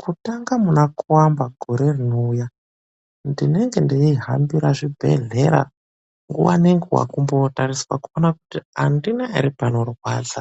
KUTANGA MUNA KUAMBA GORE RINOUYA NDINENGE NDEIHAMBIRA ZVIBEHLERA NGUWA NENGUWA KUMBOOTARISA KUONA KUTI ANDINA ERE PANORWADZA